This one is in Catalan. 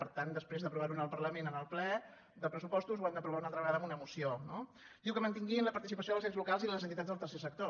per tant després d’aprovar ho en el parlament en el ple de pressupostos ho hem d’aprovar una altra vegada amb una moció no diu que mantinguin la participació dels ens locals i les entitats del tercer sector